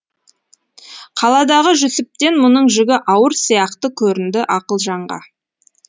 қаладағы жүсіптен мұның жүгі ауыр сияқты көрінді ақылжанға